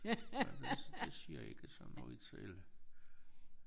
Ja det det siger ikke så noget selv